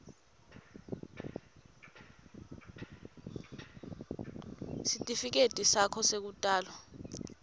sitifiketi sakho sekutalwa